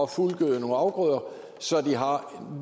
fuldgøde nogle afgrøder så